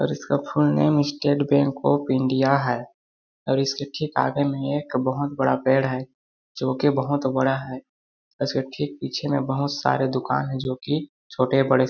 और इसका full name State Bank of India है और इसके ठीक आगे में एक बहुत बड़ा पैड़ है जो कि बहुत बड़ा है इसके ठीक पीछे में बहुत सारे दुकान है जो कि छोटे बड़े --